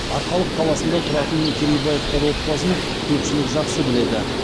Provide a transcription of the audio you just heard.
арқалық қаласында тұратын керейбаевтар отбасын көпшілік жақсы біледі